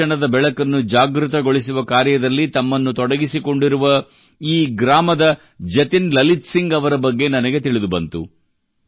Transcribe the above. ಶಿಕ್ಷಣದ ಬೆಳಕನ್ನು ಜಾಗೃತಗೊಳಿಸುವ ಕಾರ್ಯದಲ್ಲಿ ತಮ್ಮನ್ನು ತೊಡಗಿಕೊಂಡಿರುವ ಈ ಗ್ರಾಮದ ಜತಿನ್ ಲಲಿತ್ ಸಿಂಗ್ ಅವರ ಬಗ್ಗೆ ನನಗೆ ತಿಳಿದುಬಂತು